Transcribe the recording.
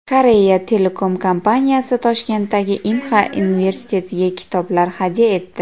Korea Telecom kompaniyasi Toshkentdagi Inha universitetiga kitoblar hadya etdi.